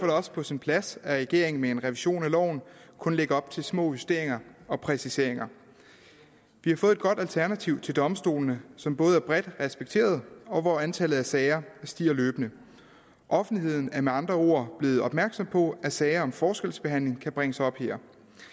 det også på sin plads at regeringen med en revision af loven kun lægger op til små justeringer og præciseringer vi har fået et godt alternativ til domstolene som både er bredt respekteret og hvor antallet af sager stiger løbende offentligheden er med andre ord blevet opmærksom på at sager om forskelsbehandling kan bringes op her